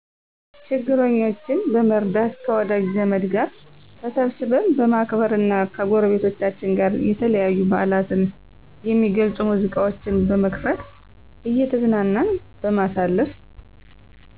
ችግረኛቼን በመርዳት ከወዳጅ ዘመድ ጋር ተሰብስበን በማክበር እና ከጎረቤቶቻችን ጋር የተለያዪ በዓላትን የሚገልፁ ሙዚቃዎችን በመክፈት እየተዝናናን በማሳለፍ